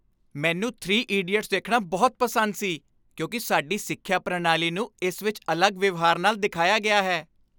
ਮੈਨੂੰ "three idiots" ਦੇਖਣਾ ਬਹੁਤ ਪਸੰਦ ਸੀ ਕਿਉਂਕਿ ਸਾਡੀ ਸਿੱਖਿਆ ਪ੍ਰਣਾਲੀ ਨੂੰ ਇਸ ਵਿੱਚ ਅਲੱਗ ਵਿਵਹਾਰ ਨਾਲ ਦਿਖਾਇਆ ਗਿਆ ਹੈ